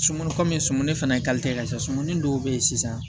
Sunkurumi sumuni fana ka ca sumuni dɔw bɛ yen sisan